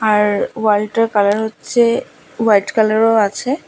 আর ওয়ালটার কালার হচ্ছে হোয়াইট কালারও আছে।